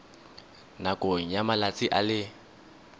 nakong ya malatsi a le